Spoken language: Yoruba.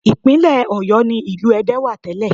Ìpínlẹ̀ Ọ̀yọ́ ni ìlú Ẹdẹ wà tẹ́lẹ̀